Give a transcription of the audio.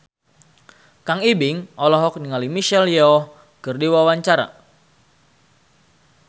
Kang Ibing olohok ningali Michelle Yeoh keur diwawancara